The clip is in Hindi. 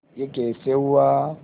यह कैसे हुआ